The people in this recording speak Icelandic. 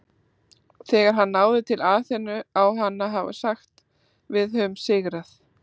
Þegar hann náði til Aþenu á hann að hafa sagt Við höfum sigrað!